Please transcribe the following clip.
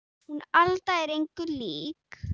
Hún Alda er engu lík